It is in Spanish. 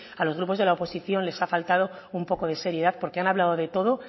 a los grupos de la oposición les ha faltado un poco de seriedad porque han hablado de todo